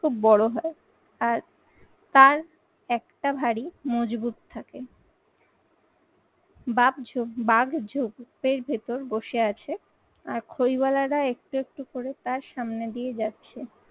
খুব বড় হয় আর তার একটা ভারী মজবুত থাকে। বাঘ ঝোপ, বাঘ ঝোপের ভেতর বসে আছে আর খইওয়ালা একটু একটু করে তার সামনে দিয়ে যাচ্ছে।